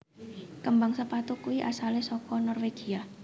Kembang sepatu kui asale soko Norwegia